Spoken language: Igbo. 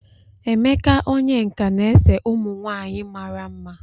Emeka onye nka na-ese ụmụ nwanyị mara mma.